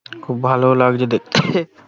খুব ভালো লাগছে দেখতে ।